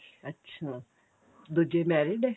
ਅੱਛਾ ਦੁੱਜੇ married ਏ